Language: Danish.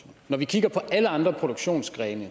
når vi kigger på alle andre produktionsgrene